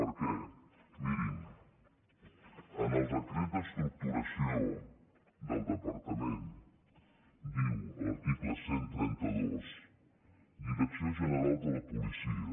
per què mirin en el decret d’estructuració del departament diu l’article cent i trenta dos direcció general de la policia